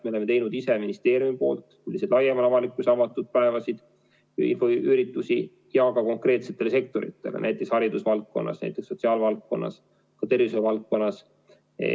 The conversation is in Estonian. Me oleme teinud ise ministeeriumi poolt laiemale avalikkusele avatud päevasid, infoüritusi, ja ka konkreetsetele sektoritele, näiteks haridusvaldkonnas, sotsiaalvaldkonnas, tervishoiuvaldkonnas.